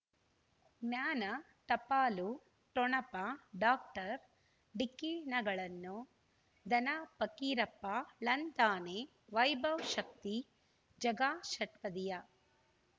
ಜ್ಞಾನ ಟಪಾಲು ಠೊಣಪ ಡಾಕ್ಟರ್ ಢಿಕ್ಕಿ ಣಗಳನು ಧನ ಫಕೀರಪ್ಪ ಳಂತಾನೆ ವೈಭವ್ ಶಕ್ತಿ ಝಗಾ ಷಟ್ಪದಿಯ